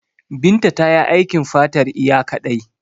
Binta tayi aikin fatar iya kaɗai.